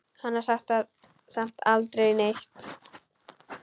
Hann sagði samt aldrei neitt.